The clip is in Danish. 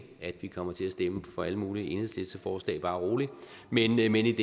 at vi kommer til at stemme for alle mulige enhedslisteforslag bare rolig men i denne